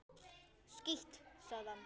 Skítt, sagði hann.